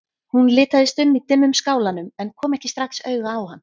Hún litaðist um í dimmum skálanum en kom ekki strax auga á hann.